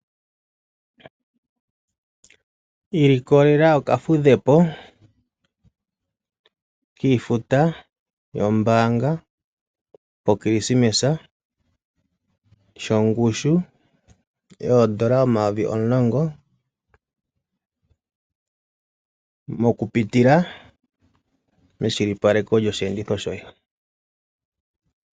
Iilikolela oka fudhepo kiifuta yombanga poKrismesa, sho ngushu yoondola N$10000, oku pitila meshilipaleko lyoshi enditho shoye.